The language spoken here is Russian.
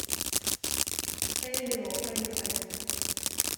элио поехали